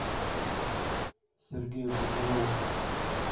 сергею пузыреву